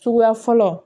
Suguya fɔlɔ